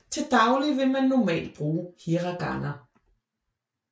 Til daglig vil man normalt bruge hiragana